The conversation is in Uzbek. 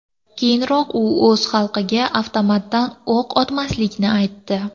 Keyinroq u o‘z xalqiga avtomatdan o‘q otmasligini aytdi .